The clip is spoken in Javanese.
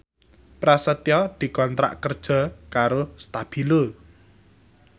Prasetyo dikontrak kerja karo Stabilo